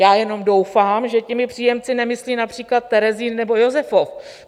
Já jenom doufám, že těmi příjemci nemyslí například Terezín nebo Josefov.